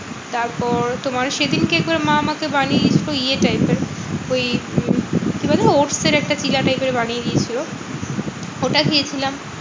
তারপর তোমার সেদিনকে একবার মা আমাকে বানিয়ে দিতো ইয়ে type এর ওই কি বলে? odds এর একটা চিলা type এর বানিয়ে দিয়েছিলো, ওটা খেয়েছিলাম।